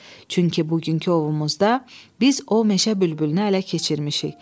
Çünki bugünkü ovumuzda biz o meşə bülbülünü ələ keçirmişik.